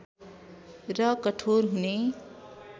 र कठोर हुने